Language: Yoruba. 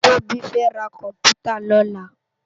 Tobi fè rá kòmpútá lòlá